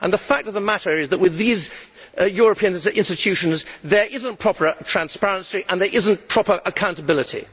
The fact of the matter is that with these European institutions, there is not proper transparency and there is not proper accountability.